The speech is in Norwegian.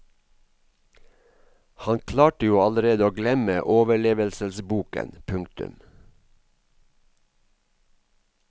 Han klarte jo allerede å glemme overlevelsesboken. punktum